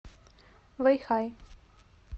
вэйхай